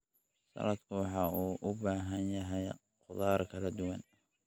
Saladku waxa uu u baahan yahay khudaar kala duwan.